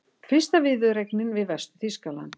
Fyrsta viðureignin við Vestur-Þýskaland